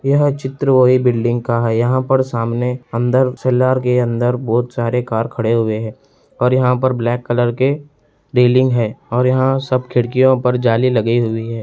यह चित्र वही बिल्डिंग का है यहाँ पर सामने अंदर के अंदर बहुत सारे कार खड़े हुए हैं और यहाँ ब्लैक कलर के रेलिंग हैं और यहाँ सब खिड़कियाँ पर जाली लगी हुई है।